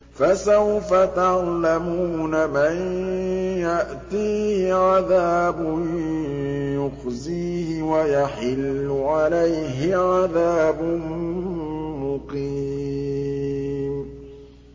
فَسَوْفَ تَعْلَمُونَ مَن يَأْتِيهِ عَذَابٌ يُخْزِيهِ وَيَحِلُّ عَلَيْهِ عَذَابٌ مُّقِيمٌ